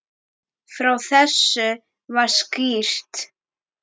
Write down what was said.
Frá þessu var skýrt.